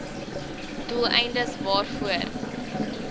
doel eindes waarvoor